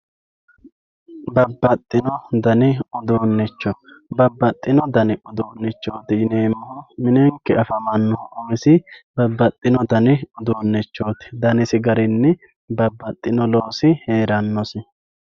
babbaxino dani uduunicho babbaxino dani uduunicho babbaxino dani uduunichooti yineemohu minenke afamanohu umisi babbaxino dani uduunichooti danisi garinni babbadhino loosi heerannosi.